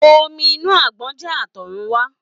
Omi inú àgbọn jẹ́ àtọ̀rún wá.